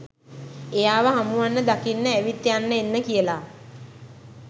එයාව හමුවන්න දකින්න ඇවිත් යන්න එන්න කියලා